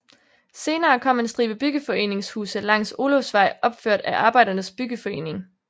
Senere kom en stribe byggeforeningshuse langs Olufsvej opført af Arbejdernes Byggeforening